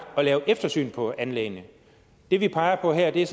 at lave eftersyn på anlæggene det vi peger på her er